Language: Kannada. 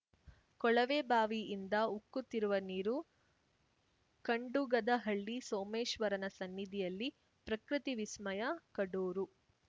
ಕೊಳವೆಬಾವಿಯಿಂದ ಉಕ್ಕುತ್ತಿರುವ ನೀರು ಖಂಡುಗದಹಳ್ಳಿ ಸೋಮೇಶ್ವರನ ಸನ್ನಿಧಿಯಲ್ಲಿ ಪ್ರಕೃತಿ ವಿಸ್ಮಯ ಕಡೂರು